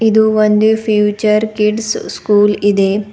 ಇದು ಒಂದು Future Kids School ಇದೆ.